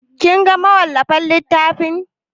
Kin ga mawallafin littafin?